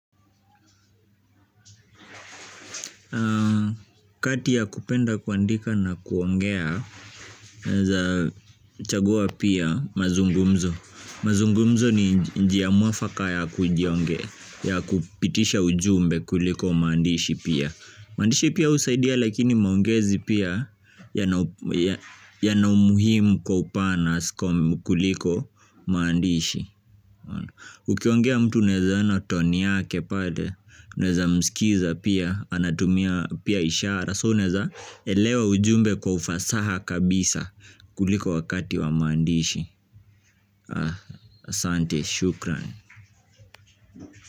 Kati ya kupenda kuandika na kuongea chagua pia mazungumzo mazungumzo ni njia mwafaka ya kupitisha ujumbe kuliko maandishi pia maandishi pia husaidia lakini maongezi pia yana umuhimu kwa upana kuliko maandishi. Ukiongea mtu unaeza ona toni yake pale unaeza mskiza pia anatumia pia ishara so unaeza elewa ujumbe kwa ufasaha kabisa kuliko wakati wa maandishi asante shukran.